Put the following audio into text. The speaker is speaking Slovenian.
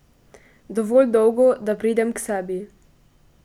Dovolj dolgo, da pridem k sebi.